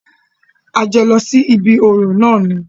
A jọ lọ sí ibí orò náà ni.